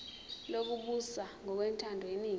lokubusa ngokwentando yeningi